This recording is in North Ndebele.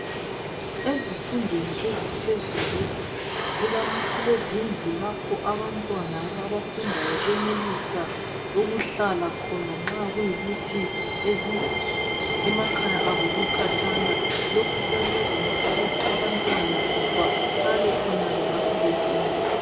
Ezifundweni eziphezulu kulam' kulezindlu lapho abantwana abafundayo benelisa ukuhlala khona nxa kuyikuthi ezi emakhaya abo kukhatshana lokhu kuyancedisa ukuthi abantwana bahlale khonale ngapho befunda